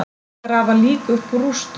Grafa lík upp úr rústum